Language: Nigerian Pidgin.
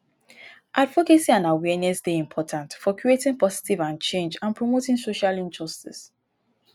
advocacy and awareness dey important for creating positive change and promoting social justice.